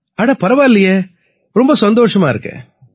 அட பரவாயில்லையே ரொம்பவே சந்தோஷமா இருக்கு